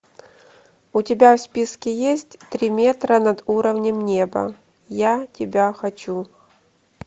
у тебя в списке есть три метра над уровнем неба я тебя хочу